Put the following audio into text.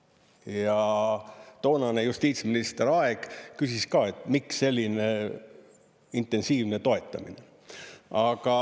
Ja toonane justiitsminister Aeg küsis ka, miks selline intensiivne toetamine.